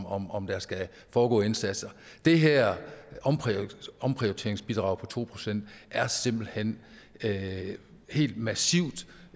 om om der skal foregå indsatser det her omprioriteringsbidrag på to procent er simpelt hen helt massivt